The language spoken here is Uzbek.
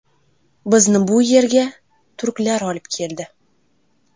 Bizni bu yerda turklar olib keldi.